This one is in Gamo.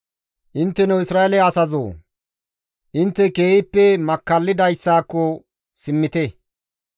Intteno Isra7eele asazoo! Intte keehippe makkallidayssaako simmite.